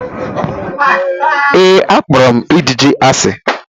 Ee, akpọrọ m ijiji asi.